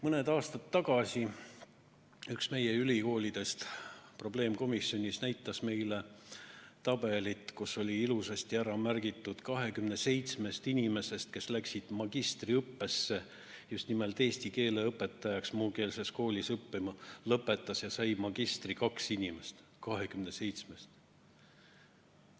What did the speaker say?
Mõned aastad tagasi üks meie ülikoolidest näitas meile probleemkomisjonis tabelit, kus oli ilusasti ära märgitud, et 27 inimesest, kes läksid magistriõppesse just nimelt muukeelse kooli eesti keele õpetajaks õppima, lõpetas ja sai magistrikraadi kaks inimest.